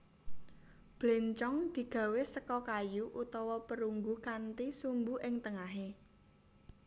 Bléncong digawé seka kayu utawa perunggu kanthi sumbu ing tengahé